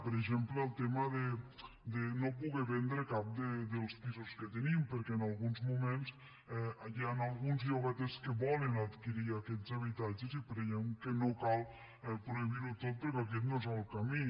per exemple el tema de no poder vendre cap dels pisos que tenim perquè en alguns moments hi han alguns llogaters que volen adquirir aquests habitatges i creiem que no cal prohibir ho tot perquè aquest no és el camí